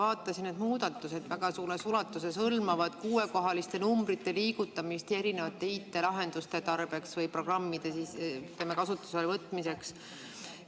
Ma vaatasin, et need muudatused väga suures ulatuses hõlmavad kuuekohaliste arvude liigutamist erinevate IT-lahenduste tarbeks või programmide kasutusele võtmiseks.